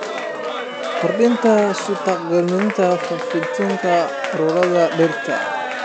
Kordhi suurtagalnimada faafitaanka cudurrada dhirta.